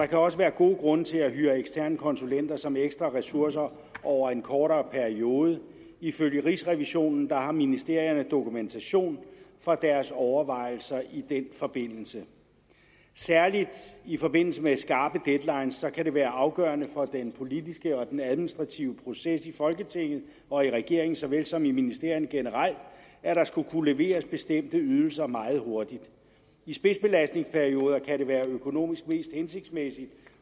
kan også være gode grunde til at hyre eksterne konsulenter som ekstra ressourcer over en kortere periode ifølge rigsrevisionen har ministerierne dokumentation for deres overvejelser i den forbindelse særlig i forbindelse med skarpe deadlines kan det være afgørende for den politiske og den administrative proces i folketinget og i regeringen såvel som i ministerierne generelt at der skal kunne leveres bestemte ydelser meget hurtigt i spidsbelastningsperioder kan det være økonomisk mest hensigtsmæssigt